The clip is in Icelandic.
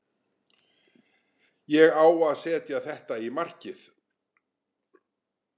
Ég á að setja þetta í markið.